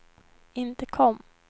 intercom